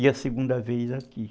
E a segunda vez aqui.